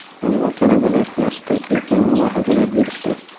ammo talabalar yaxshi taklif va mulohazalar berishdi.